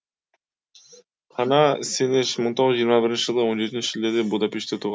хана сенеш мың тоғыз жүз жиырма бірінші жылы он жетінші шілдеде будапештте туға